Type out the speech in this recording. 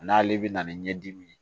N'ale bɛ na ni ɲɛdimi ye